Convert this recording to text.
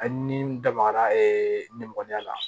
Ani n dabara ye ne mɔgɔnya la